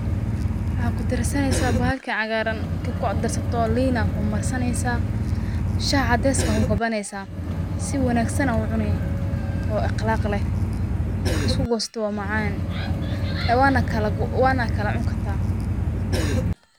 Maxa kudarsaneysa bahalkan cagaaran, marka kudarsato lin aa marsaneysa, Shah cadeyska ku kabaaneysa si wanaagsan aa u cuni oo aqlaq leh, marka isku goosato waa macan wana kala cuni kartaa